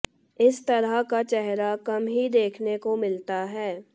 इस तरह का चेहरा कम ही देखने को मिलता है